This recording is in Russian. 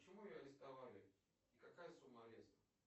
почему ее арестовали и какая сумма ареста